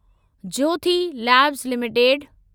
Jyothi labs limited